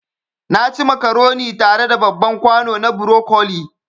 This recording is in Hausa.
Naci macaroni tare da babban kwano na broccoli